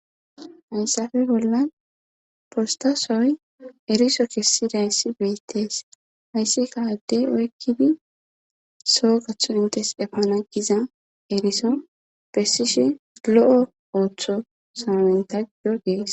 hayssafe bollan postasoy eriso kessi dayssi beittees hayssi kaade oykkidi soo gathu intes efana giza eriso bessishe lo7o ooththo samamentajo gees